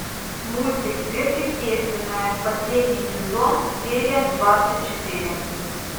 мультик сверхъестественное последний сезон серия двадцать четыре